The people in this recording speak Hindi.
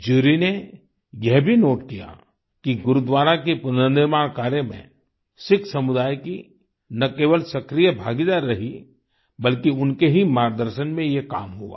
जुरी ने यह भी नोट किया कि गुरुद्वारा के पुनर्निर्माण कार्य में सिख समुदाय की ना केवल सक्रिय भागीदारी रही बल्कि उनके ही मार्गदर्शन में ये काम हुआ